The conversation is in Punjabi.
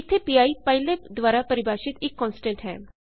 ਇੱਥੇ ਪੀ ਪਾਈਲੈਬ ਦੁਆਰਾ ਪਰਿਭਾਸ਼ਿਤ ਇੱਕ ਕੋਨਸਟੈਂਟ ਹੈ